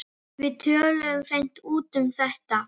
Við töluðum alveg hreint út um þetta.